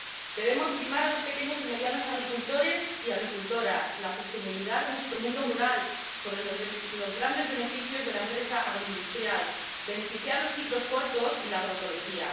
Debemos primar a los pequeños y medianos agricultores y agricultoras y la sostenibilidad de nuestro mundo rural sobre los grandes beneficios de la empresa agroindustrial, y favorecer los ciclos cortos y la agroecología.